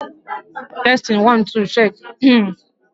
Ụlọ ụka a na ama ọkwa ha n'oge iji mee ka ị nwee ike ị hazị oge gị nke ọma